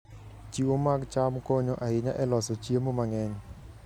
Chiwo mag cham konyo ahinya e loso chiemo mang'eny.